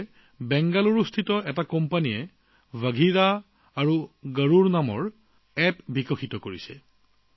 একেদৰে বেংগালুৰুৰ এটা কোম্পানীয়ে বাঘিৰা আৰু গৰুড় নামৰ এপ এটা প্ৰস্তুত কৰিছে